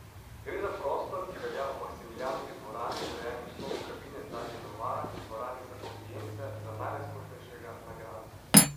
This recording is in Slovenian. Gre za prostor, ki velja ob Maksimilijanovi dvorani, urejeni v slogu kabine z ladje Novara, in dvorani za avdience za najrazkošnejšega na gradu.